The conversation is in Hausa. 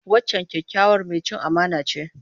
Wancan kyakkyawar mai cin amana ce.